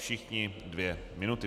Všichni dvě minuty.